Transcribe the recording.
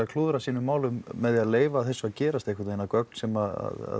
klúðrað sínum málum með því að leyfa þessu að gerast einhvern veginn að gögn sem